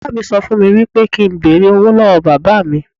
Ìyá mi sọ fún mi wípé kín n bẹ̀rẹ̀ owó lọ́wọ́ Bàbà mi.